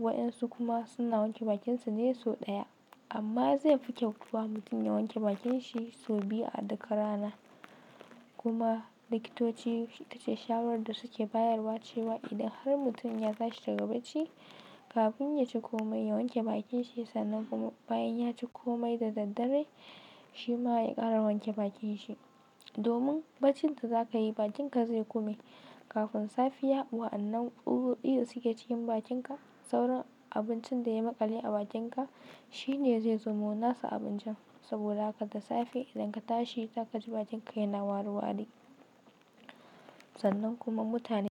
Waɗansu kuma suna wanke bakinsu ne sau ɗaya amma zai fi kyau kuwa mutum ya wanke bakin shi sau biyu a duk rana. Kuma likitoci ita ce shawarar da suke bayarwa cewa idan har mutum ya tashi daga bacci kafin ya ci komai ya wanke bakins shi sannan kuma bayan ya ci komai da daddare shi ma ya ƙara wanke bakin shi. Domin baccin da za ka yi bakinka zai kome kafin safiya wa'annan tsutsotsi da suke cikin bakinka sauran abincin da ya maƙale a bakinka shi ne zai zamo nasu abincin saboda haka da safe idan ka tashi za ka ji bakinka yana wari wari. Sannan kuma mutane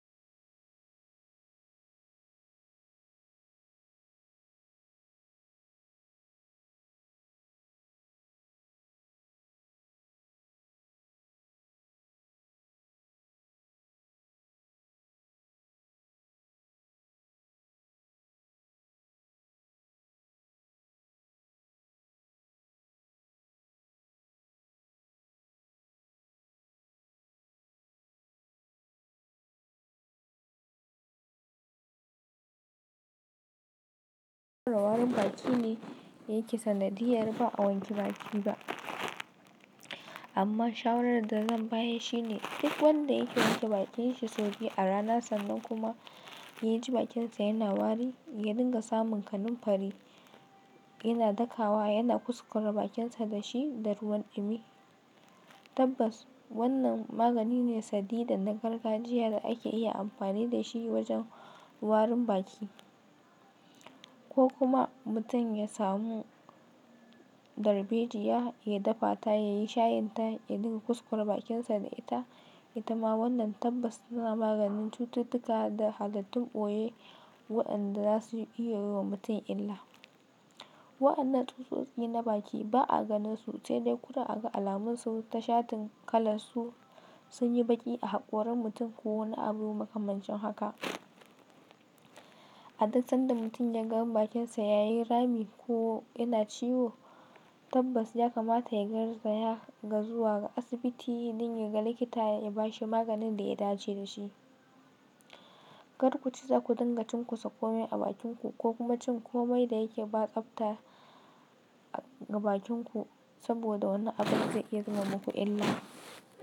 warin baki ne yake sanadiyar ba a wanke baki ba. Amma shawarar da zan bayar shi ne duk wanda yake wanke bakin shi sau biyu a rana sannan kuma ya ji bakinsa yana wari ya dinga samun kanunfari yana daka wa yana kuskure bakinsa da shi da ruwan ɗumi. Tabbas wannan magani ne sadi dan na gargajiya da ake iya amfani da shi wajen warin baki. Ko kuma mutum ya samu darbejiya ya dafa ta ya yi shayin ta ya dinga kuskure bakinsa da ita. Ita ma wannan tabbas tana maganin cututtuka da haluttun ɓoye waɗanda za su iya yi wa mutum illa. Waɗannan tsutsotsi na baki ba a ganin su sai dai kurum a ga alamun su ta shatin kalan su sun yi baƙi a hakorin mutum ko wani abu makamancin haka. A duk sanda mutum ya ga bakinsa ya yi rami ko yana ciwo tabbas ya kamata ya garzaya ga zuwa ga asibiti don ya ga likita ya ba shi maganin da ya dace da shi. Kar ku ci zaku dinga cin kusa komai a bakinku ko kuma cin komai da yake ba tsafta ga bakinku saboda wani abun zai iya zama muku illa.